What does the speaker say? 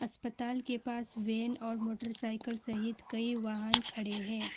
अस्पताल के पास वेन और मोटरसाइकल सहित कई वाहन खड़े हैं।